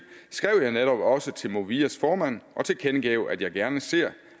skrev jeg netop også til movias formand og tilkendegav at jeg gerne ser